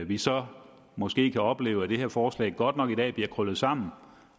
vi så måske kan opleve at det her forslag godt nok i dag bliver krøllet sammen